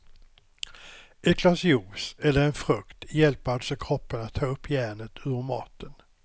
Ett glas juice eller en frukt hjälper alltså kroppen att ta upp järnet ur maten.